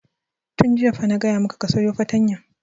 Tun jiya fa na gaya maka ka sayo fartanya!